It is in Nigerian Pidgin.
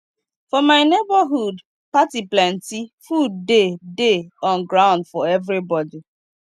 for my neborhood party plenty food dey dey on ground for everybodi